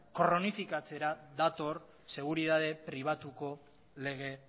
kronifikatzera dator seguritate pribatuko lege